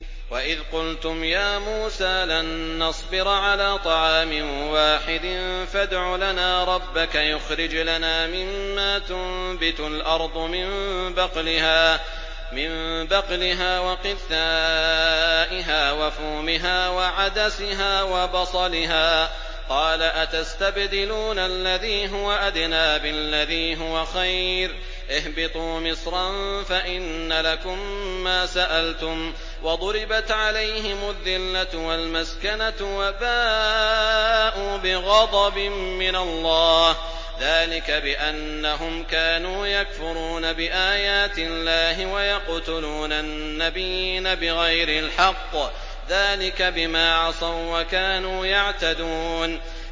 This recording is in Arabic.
وَإِذْ قُلْتُمْ يَا مُوسَىٰ لَن نَّصْبِرَ عَلَىٰ طَعَامٍ وَاحِدٍ فَادْعُ لَنَا رَبَّكَ يُخْرِجْ لَنَا مِمَّا تُنبِتُ الْأَرْضُ مِن بَقْلِهَا وَقِثَّائِهَا وَفُومِهَا وَعَدَسِهَا وَبَصَلِهَا ۖ قَالَ أَتَسْتَبْدِلُونَ الَّذِي هُوَ أَدْنَىٰ بِالَّذِي هُوَ خَيْرٌ ۚ اهْبِطُوا مِصْرًا فَإِنَّ لَكُم مَّا سَأَلْتُمْ ۗ وَضُرِبَتْ عَلَيْهِمُ الذِّلَّةُ وَالْمَسْكَنَةُ وَبَاءُوا بِغَضَبٍ مِّنَ اللَّهِ ۗ ذَٰلِكَ بِأَنَّهُمْ كَانُوا يَكْفُرُونَ بِآيَاتِ اللَّهِ وَيَقْتُلُونَ النَّبِيِّينَ بِغَيْرِ الْحَقِّ ۗ ذَٰلِكَ بِمَا عَصَوا وَّكَانُوا يَعْتَدُونَ